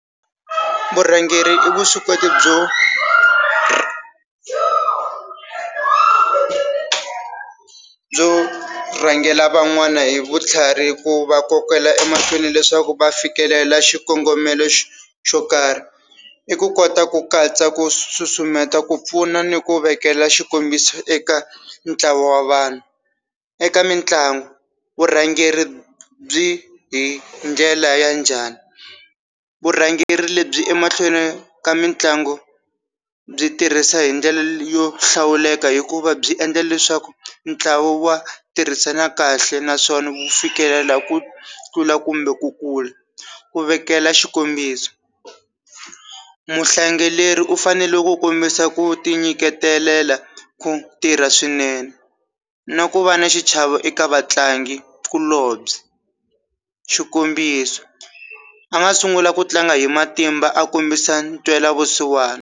Vurhangeri i vuswikoti byo byo rhangela van'wana hi vutlhari hi ku va kokela emahlweni leswaku va fikelela xikongomelo xo xo karhi i ku kota ku katsa ku susumetela ku pfuna ni ku vekela xikombiso eka ntlawa wa vanhu. Eka mitlangu vurhangeri byi hi ndlela ya njhani? Vurhangeri lebyi emahlweni ka mitlangu byi tirhisa hi ndlela yo hlawuleka hikuva byi endla leswaku ntlawa wa tirhisana kahle naswona wu fikelela ku tlula kumbe ku kula, ku vekela xikombiso, u fanele ku kombisa ku ti nyiketelela ku tirha swinene na ku va na xichavo eka vatlangi kulobye. Xikombiso, a nga sungula ku tlanga hi matimba a kombisa ntwela vusiwana.